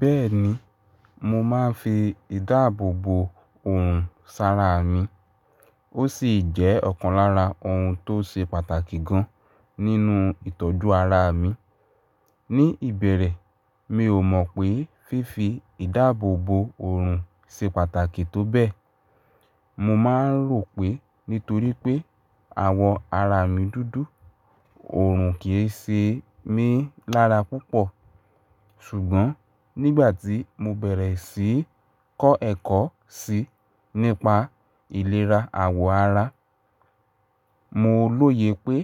Bẹ́ẹ̀ni, mo máa ń fi ìdáàbòbò òòrùn sára mi. Ó sì jẹ́ ọ̀kan lára ohun tó ṣe pàtàkì gan nínú ìtọ́jú ara mi. Ní ìbẹ̀rẹ̀, mi ò mọ̀ pé fífi ìdáàbòbò òòrùn ṣe pàtàkì tó bẹ́ẹ̀. Mo máa ń rò pé nítorí pé àwọ̀ ara mi dúdú, òòrùn kì í ṣe mí lára púpọ̀. Ṣùgbọ́n nígbà tí mo bẹ̀rẹ̀ sí í kọ́ ẹ̀kọ́ sí i nípa ìlera àwọ̀ ara, mo lóye pé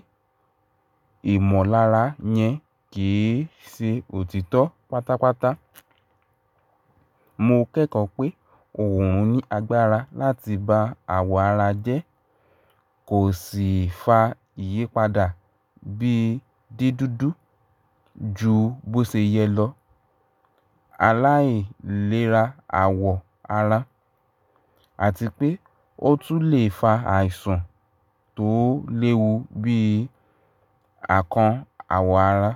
ìmọ̀lára yẹn kì í ṣe òtítọ́ pátápátá. Mo kẹ́kọ̀ọ́ pé òòrùn ní agbára láti ba àwọ̀ ara jẹ́, kò sì fa ìyípadà bíi dídúndú ju bó ṣe yẹ lọ. Àláì ìlera àwọ̀ ara àti pé ó tún lè fa àìsàn tó léwu bí i àkan àwọ̀ ara.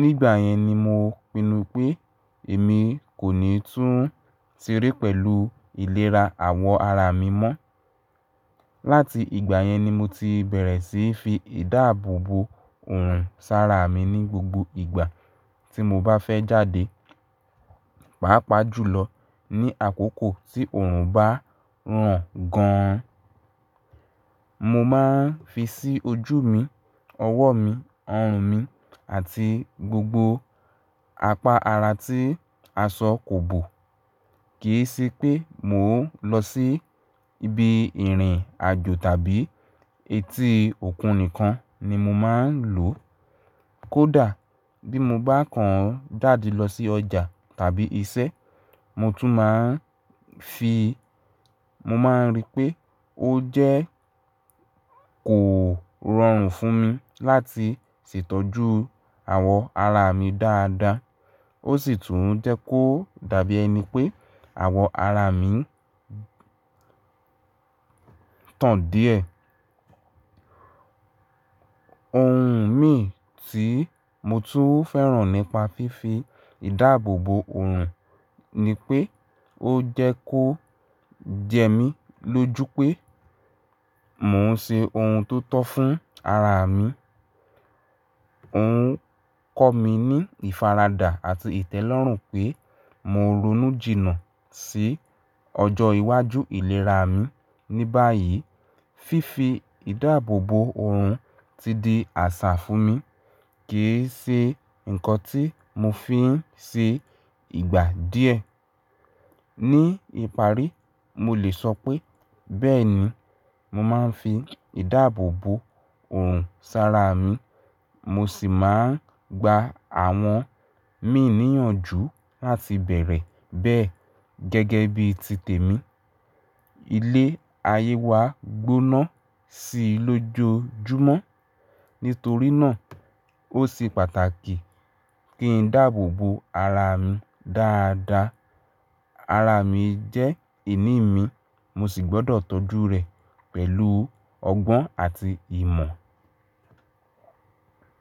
Nígbà yẹn ni mo pinnu pé èmi kò ní tún tiré pẹ̀lú ìlera àwọ̀ ara mi mọ́. Láti ìgbà yẹn ni mo ti bẹ̀rẹ̀ sí í fi ìdáàbòbò òòrùn sára mi ní gbogbo ìgbà tí mo bá fẹ́ jáde, pàápàá jùlọ ní àkókò tí òòrùn bá ràn gan. Mo máa ń fi sí ojú mi, ọwọ́ mi, ọrùn mi àti gbogbo apá ara tí aṣọ kò bò. Kì í ṣe pé mò ń lọ sí ibi ìrìn àjò tàbí etí òkun nìkan ni mo máa ń lò ó. Kódà bí mo bá kàn dáadi lọ sí ọjà tàbí iṣẹ́, mo tún máa ń fi. Mo máa ń rí pé ó jẹ́ kò rọrùn fún mi láti ṣètọ́jú àwọ̀ ara mi dáadáa. Ó sì tún jẹ́ kó dàbí ẹni pé àwọ̀ ara mi tán díẹ̀. Ohun mì tí mo tún fẹ́ràn nípa fífi ìdáàbòbò òòrùn ni pé ó jẹ́ kó jẹ mí lójú pé mò ń ṣe ohun tó tọ́ fún ara mi. Òun kọ́ mi ní ìfaradà àti ìtẹ́lọ́rùn pé mò ń ronú jìnnà sí ọjọ́ iwájú ìlera mi. Ní báyìí, fífi ìdáàbòbò òòrùn ti di àṣà fún mi. Kì í ṣe nǹkan tí mo fi ń ṣe ìgbà díẹ̀. Ní ìparí, mo lè sọ pé bẹ́ẹ̀ni, mo máa ń fi ìdáàbòbò òòrùn sára mi. Mo sì máa ń gba àwọn míì níyànjú láti bẹ̀rẹ̀ bẹ́ẹ̀ gẹ́gẹ́ bí ti tèmi. Ilé ayé wa gbóná sí i lójoojúmọ́. Nítorí náà ó ṣe pàtàkì kí n dáàbòbò ara mi dáadáa. Ara mi jẹ́ ìní mi mo sì gbọ́dọ̀ tọ́jú rẹ̀ pẹ̀lú ọgbọ́n àti ìmọ̀.